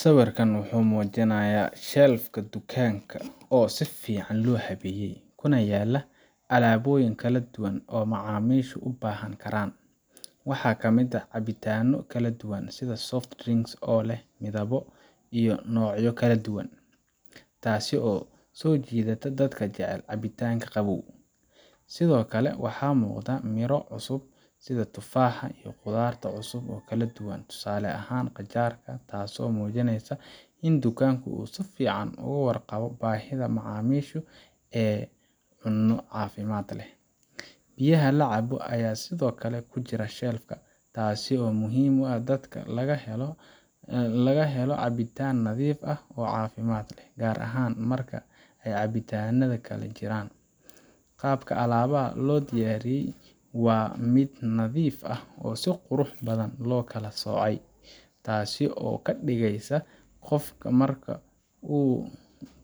Sawirkaan wuxuu muujinayaa shelf ka dukaanka oo si fiican loo habeeyay, kuna yaalla alaabooyin kala duwan oo macaamiishu u baahan karaan. Waxaa ka mid ah cabitaanno kala duwan sida soft drinks oo leh midabo iyo noocyo kala duwan, taasoo soo jiidanaysa dadka jecel cabitaannada qabow. Sidoo kale waxaa muuqda miro cusub sida tufaax iyo khudaarta cusub oo kala duwan, tusaale ahaan qajaar, taasoo muujinaysa in dukaanka uu si fiican uga warqabo baahida macaamiisha ee cunno caafimaad leh. Biyaha la cabo ayaa sidoo kale ku jira shelf ka, taasoo muhiim u ah in dadka laga helo cabitaan nadiif ah oo caafimaad leh, gaar ahaan marka ay cabitaannada kale jiraan. Qaabka alaabaha loo diyaariyey waa mid nadiif ah oo si qurux badan loo kala soocay, taasoo ka dhigaysa in qofka marka uu